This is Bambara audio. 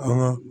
An ye